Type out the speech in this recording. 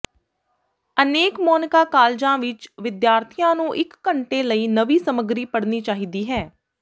ਅਨੇਕ ਮੋਨਿਕਾ ਕਾਲਜਾਂ ਵਿਚ ਵਿਦਿਆਰਥੀਆਂ ਨੂੰ ਇਕ ਘੰਟੇ ਲਈ ਨਵੀਂ ਸਮੱਗਰੀ ਪੜ੍ਹਨੀ ਚਾਹੀਦੀ ਹੈ